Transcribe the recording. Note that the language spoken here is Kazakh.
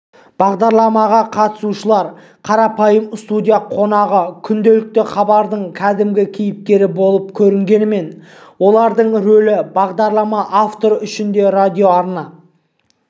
бағдарламаға қатысушылар қарапайым студия қонағы күнделікті хабардың кәдімгі кейіпкері болып көрінгенмен олардың ролі бағдарлама авторы үшін де радиоарна